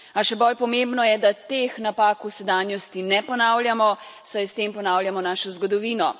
A še bolj pomembno je, da teh napak v sedanjosti ne ponavljamo, saj s tem ponavljamo našo zgodovino.